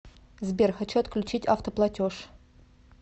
сбер хочу отключить автоплотеж